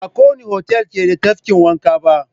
Ba kowanne otal ke da tafkin wanka ba.